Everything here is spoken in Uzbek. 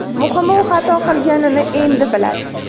Muhimi u xato qilganini endi biladi.